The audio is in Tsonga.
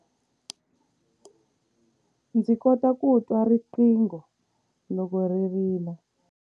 Ndzi kota ku twa riqingho loko ri rila.